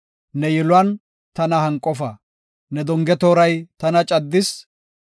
Ne donge tooray tana caddis; ne kushey tana deexis.